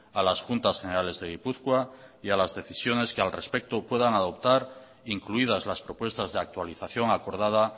a las juntas generales de gipuzkoa y a las decisiones que al respecto puedan adoptar incluidas las propuestas de actualización acordada